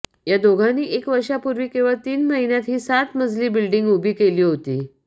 या दोघांनी एक वर्षापूर्वी केवळ तीन महिन्यात ही सात मजली बिल्डिंग उभी केली होती